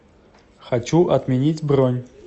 хочу отменить бронь